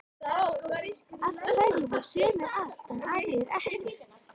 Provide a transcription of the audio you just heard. Af hverju fá sumir allt en aðrir ekkert?